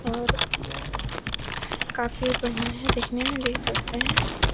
और काफी बढ़ियां है दिखने में देख सकते हैं |